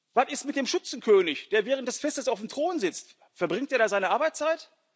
Was ist mit dem Schützenkönig, der während des Festes auf dem Thron sitzt verbringt er da seine Arbeitszeit?